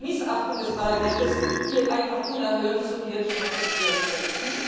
Das ist eine Missachtung des Parlaments, die einfach unerhört ist und die wir nicht akzeptieren können!